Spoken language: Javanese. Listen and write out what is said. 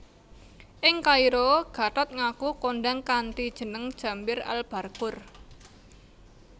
Ing Kairo Gatot ngaku kondhang kanthi jeneng Jambir Al Barqur